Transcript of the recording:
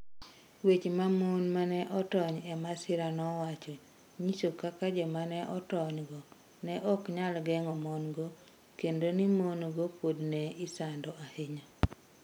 Weche ma mon ma ne otony e masirano nowacho, nyiso kaka joma ne otonygo ne ok nyal geng'o mon-go, kendo ni mon-go pod ne isando ahinya.